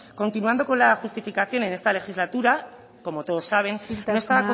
continuando con la justificación en esta legislatura como todos saben isiltasuna no está